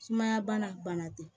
Sumaya bana tɛ